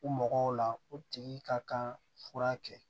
U mɔgɔw la o tigi ka kan fura kɛ